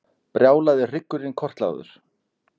Brjálaði hryggurinn kortlagður